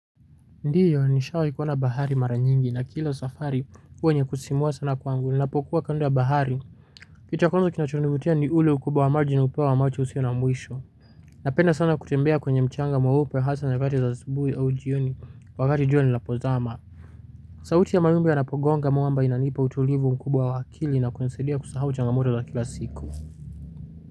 Ndiyo ni shawahi kuona bahari mara nyingi na kila safari huwa yenye kusisimua sana kwangu ninapokuwa kando ya bahari kitu cha kwanzo kinachonivutia ni ule ukubwa wa maji ni upewa wa macho usio na mwisho napenda sana kutembea kwenye mchanga mweupe hasa nyakati za asubuhi au jioni wakati jua linapozama sauti ya mawimbi yanapogonga mwamba inanipa utulivu mkubwa wa akili na kunisaidia kusahau changamoto za kila siku.